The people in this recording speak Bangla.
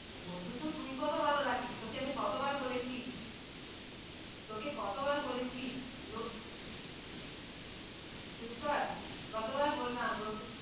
বন্ধুত্ব তুই কত ভালো রাখিস, তোকে আমি কতবার বলেছি তোকে কতবার বলেছি চুপ কর কতবার বললাম।